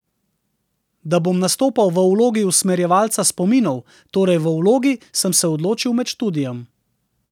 Da bom nastopal v vlogi usmerjevalca spominov, torej v vlogi, sem se odločil med študijem.